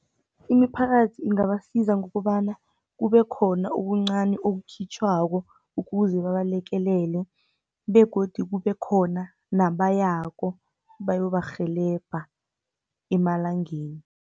Imiphakathi ingabasiza ngokobana, kubekhona ubuncani obukhitjhwako, ukuze babalekelele, begodi kubekhona nabayako, bayobarheleba emalangeni.